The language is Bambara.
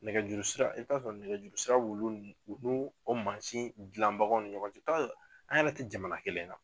Nɛgɛjuru sira , i t'a sɔrɔ nɛgɛjuru sira b'o maasin dilanbagaw ni ɲɔgɔn cɛ i bi t'a sɔrɔ ani yɛrɛ tɛ jamana kelen na.